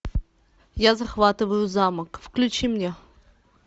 я захватываю замок включи мне